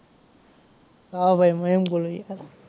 હા ભાઈ મયંક બોલું છું.